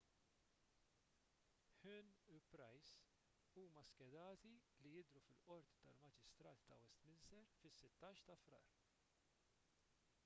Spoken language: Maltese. huhne u pryce huma skedati li jidhru fil-qorti tal-maġistrati ta' westminster fis-16 ta' frar